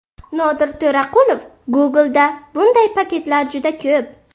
Nodir To‘raqulov: Google’da bunday paketlar juda ko‘p.